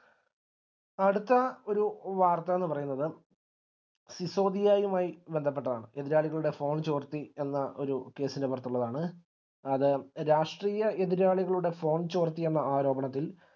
അടുത്ത ഒരു വാർത്ത എന്നുപറയുന്നത് സിസോദിയയുമായി ബന്ധപ്പെട്ടതാണ് എതിരാളികളുടെ phone ചോർത്തി എന്ന ഒര് case ൻറെ പുറത്തുള്ളതാണ് അത് രാഷ്ട്രീയ എതിരാളികളുടെ phone ചോർത്തി എന്ന ആരോപണത്തിൽ